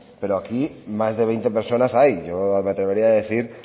pero aquí más de veinte personas hay yo me atrevería a decir